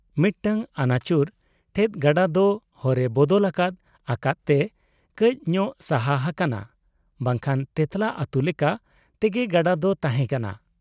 ᱢᱤᱫᱴᱟᱝ ᱟᱹᱱᱟᱹᱪᱩᱨ ᱴᱷᱮᱫ ᱜᱟᱰᱟ ᱫᱚ ᱦᱚᱨᱮ ᱵᱚᱫᱚᱞ ᱟᱠᱟᱫ ᱟᱠᱟᱫ ᱛᱮ ᱠᱟᱹᱡ ᱧᱚᱜ ᱥᱟᱦᱟ ᱦᱟᱠᱟᱱᱟ , ᱵᱟᱝᱠᱷᱟᱱ ᱛᱮᱸᱛᱞᱟ ᱟᱛᱩ ᱞᱮᱠᱟ ᱛᱮᱜᱮ ᱜᱟᱰᱟ ᱫᱚ ᱛᱟᱦᱮᱸ ᱠᱟᱱᱟ ᱾